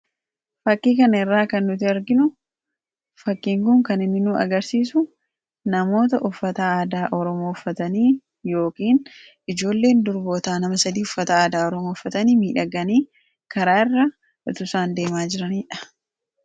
fakkii kanarraa kan nuti arginu fakkiinkun kan inni nuu agarsiisu namoota uffata aadaa Oromoo uffatanii yookiin ijoolleen durbootaa nama sadii uffataa aadaa Oromoo uffatanii miidhaganii karaa irra utu isaan deemaa jiraniidha.